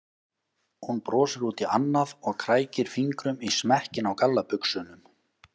Hún brosir út í annað og krækir fingrum í smekkinn á gallabuxunum.